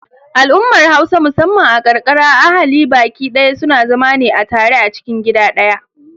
Al'ummar Hausa musamman a ƙarƙara ahali baƙi daya suna zama ne a tare a cikin gida ɗaya.